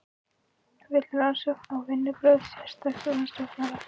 Vill rannsókn á vinnubrögðum sérstaks saksóknara